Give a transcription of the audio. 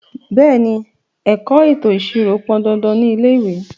Bẹ̀ẹ́ni, ẹ̀kọ́ ètò ìṣirò pọn dandan ní ilé ìwé.